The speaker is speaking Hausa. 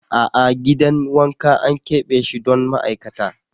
A'a gidan wanka an keɓe shi don ma'aikata.